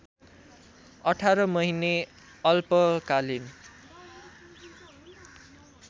१८ महिने अल्पकालिन